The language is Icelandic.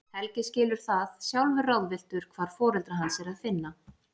Helgi skilur það, sjálfur ráðvilltur hvar foreldra hans er að finna.